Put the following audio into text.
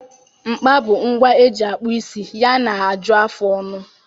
Mkpa bụ ngwa eji akpụ isi ya na ajụ afụ ọnụ.